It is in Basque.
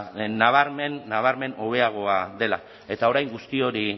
nabarmen hobeagoa dela eta orain guzti hori